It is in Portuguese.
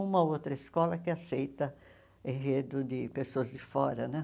Uma ou outra escola que aceita enredo de pessoas de fora, né?